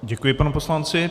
Děkuji panu poslanci.